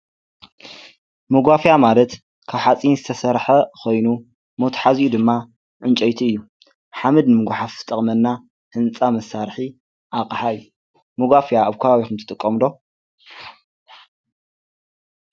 መጓፍያ ማለት ካብ ሓጺን ዝተሠርሐ ኾይኑ ሞትሓዚኡ ድማ ዕንጨይቲ እዩ፡፡ ሓመድ ምጐሓፍ ዝጠቕመና ህንፃ መሳርሒ ኣቐሓ አዩ፡፡ መጓፍያ ኣብ ከባቢኹም ትጥቀሙዶ?